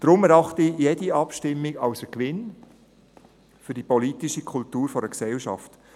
Deshalb erachte ich jede Abstimmung als Gewinn für die politische Kultur einer Gesellschaft.